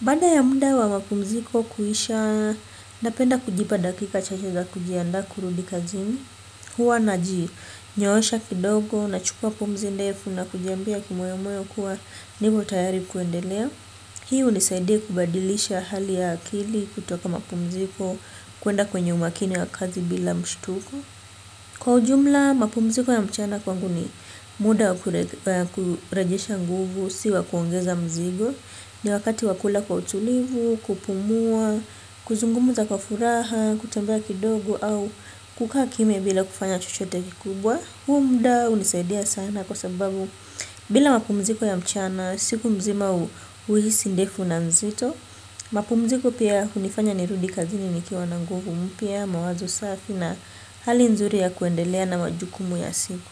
Baada ya muda wa mapumziko kuisha napenda kujipa dakika chache za kujiandaa kurudi kazini huwa najinyoosha kidogo, na chukua pumzi ndefu na kujiambia kimoyomoyo kuwa nimo tayari kuendelea. Hii hunisaidia kubadilisha hali ya akili kutoka mapumziko, kuenda kwenye umakini wa kazi bila mshtuko. Kwa ujumla, mapumziko ya mchana kwangu ni muda wa kurejesha nguvu, si wa kuongeza mzigo. Ni wakati wa kula kwa utulivu, kupumua, kuzungumza kwa furaha, kutembea kidogo au kukaa kimya bila kufanya chochote kikubwa. Huu muda hunisaidia sana kwa sababu bila mapumziko ya mchana, siku mzima huhisi ndefu na mzito. Mapumziko pia hunifanya nirudi kazini nikiwa na nguvu mpya, mawazo safi na hali nzuri ya kuendelea na majukumu ya siku.